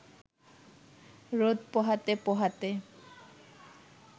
রোদ পোহাতে পোহাতে